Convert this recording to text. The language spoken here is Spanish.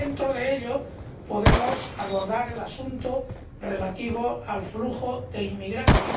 Y, dentro de ello, podemos abordar el asunto relativo al flujo de inmigrantes.